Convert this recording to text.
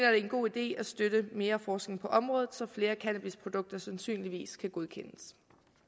er en god idé at støtte mere forskning på området så flere cannabisprodukter sandsynligvis kan godkendes